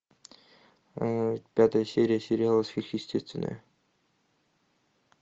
пятая серия сериала сверхъестественное